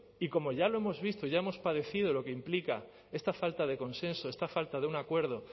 y como ya lo hemos visto y ya hemos padecido lo que implica esta falta de consenso esta falta de un acuerdo